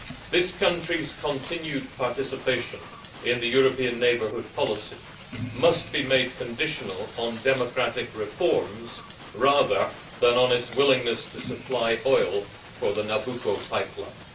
This country's continued participation in the European Neighbourhood Policy must be made conditional on democratic reforms rather than on its willingness to supply oil for the Nabucco pipeline.